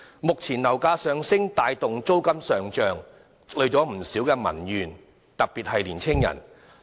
目前，樓價上升帶動租金上漲，社會上積累了不少民怨，特別是在青年人。